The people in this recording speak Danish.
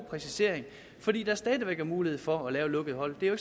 præcisering fordi der stadig væk er mulighed for at lave lukkede hold det er jo